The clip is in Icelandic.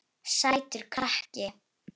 Sætur krakki!